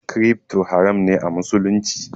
Crypto haram ne a musulunci